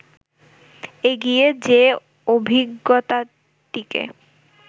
এগিয়ে যে-অভিজ্ঞতাটিকে